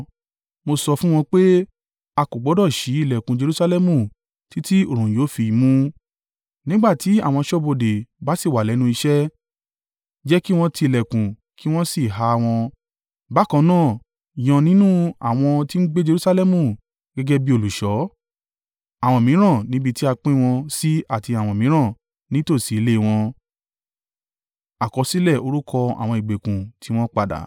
Mo sọ fún wọn pé, “A kò gbọdọ̀ ṣí ìlẹ̀kùn Jerusalẹmu títí oòrùn yóò fi mú. Nígbà tí àwọn aṣọ́bodè bá sì wà lẹ́nu iṣẹ́, jẹ́ kí wọn ti ìlẹ̀kùn kí wọn sì há wọn. Bákan náà, yàn nínú àwọn tí ń gbé Jerusalẹmu gẹ́gẹ́ bí olùṣọ́. Àwọn mìíràn níbi tí a pín wọn sí àti àwọn mìíràn ní tòsí ilé e wọn.”